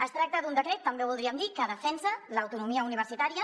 es tracta d’un decret també ho voldríem dir que defensa l’autonomia universitària